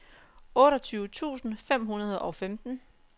otteogtyve tusind fem hundrede og femten